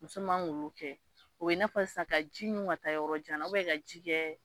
Muso man k'olu kɛ o ye n'a fɔ sisan ka ji ɲun ka taa yɔrɔ jan na ubɛn ka ji kɛ